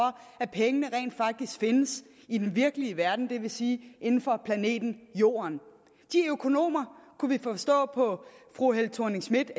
at pengene rent faktisk findes i den virkelige verden det vil sige inden for planeten jorden de økonomer kunne vi forstå på fru helle thorning schmidt